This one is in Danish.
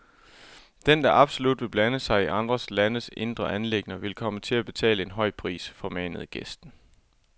Den, der absolut vil blande sig i andre landes indre anliggender, vil komme til at betale en høj pris, formanede gæsten.